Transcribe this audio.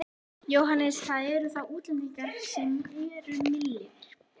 Jóhannes: Það eru þá útlendingarnir sem eru milliliðir?